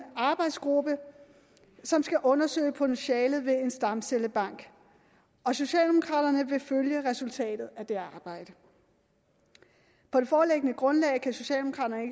arbejdsgruppe som skal undersøge potentialet i en stamcellebank socialdemokraterne vil følge resultatet af det arbejde på det foreliggende grundlag kan socialdemokraterne